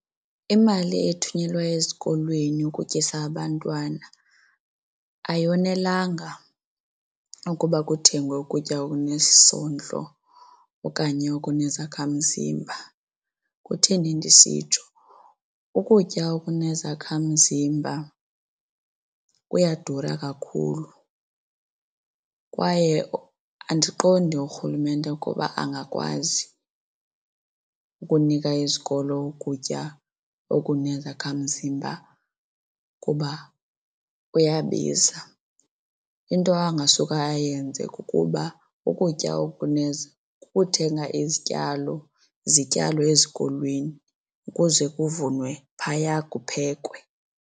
Imali ethunyelwa ezikolweni ukutyisa abantwana ayonelanga ukuba kuthengwe ukutya okunesondlo okanye okunezakhamzimba. Kutheni ndisitsho, ukutya okunezakhamzimba kuyadura kakhulu kwaye andiqondi urhulumente ukuba angakwazi ukunika izikolo ukutya okunezakhamzimba kuba kuyabiza. Into angasuka ayenze kukuba ukutya kukuthenga izityalo zityalwe ezikolweni ukuze kuvunwe phaya kuphekwe.